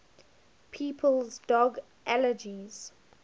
people's dog allergies